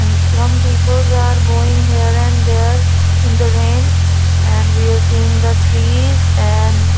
and some people are going here and there in the rain and we are seeing the trees and --